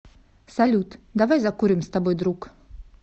салют давай закурим с тобой друг